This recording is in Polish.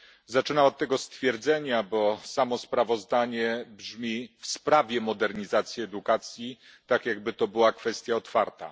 Zaczynam od tego stwierdzenia, bo samo sprawozdanie brzmi w sprawie modernizacji edukacji. Tak, jakby to była kwestia otwarta.